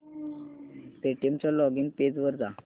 Paytm च्या login page वर जा